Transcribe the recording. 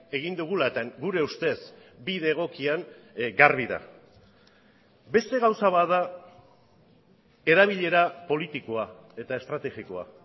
egin dugula eta gure ustez bide egokian garbi da beste gauza bat da erabilera politikoa eta estrategikoa